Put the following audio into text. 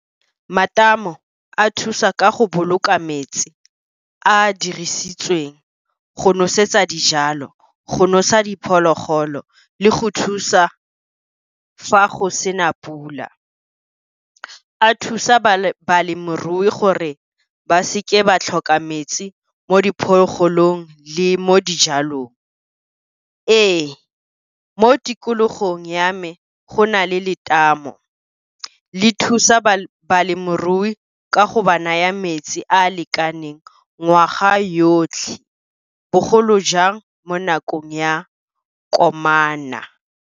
Matamo a thusa ka go boloka metsi a a dirisitsweng go nosetsa dijalo, go nosa diphologolo, le go thusa fa go sena pula. A thusa balemirui gore ba seke ba tlhoka metsi mo diphologolong le mo dijalong. Ee, mo tikologong ya me go na le letamo le thusa balemirui ka go ba naya metsi a a lekaneng ngwaga yotlhe, bogolo jang mo nakong ya komana.